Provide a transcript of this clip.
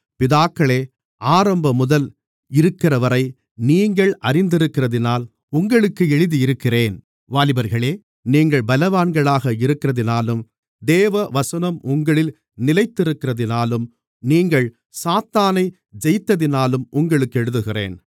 பிதாக்களே ஆரம்பமுதல் இருக்கிறவரை நீங்கள் அறிந்திருக்கிறதினால் உங்களுக்கு எழுதியிருக்கிறேன் வாலிபர்களே நீங்கள் பலவான்களாக இருக்கிறதினாலும் தேவவசனம் உங்களில் நிலைத்திருக்கிறதினாலும் நீங்கள் சாத்தானை ஜெயித்ததினாலும் உங்களுக்கு எழுதியிருக்கிறேன்